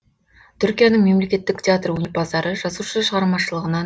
түркияның мемлекеттік театр өнерпаздары жазушы шығармашылығынан